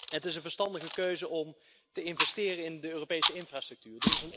Het is een verstandige keuze om te investeren in Europese infrastructuur.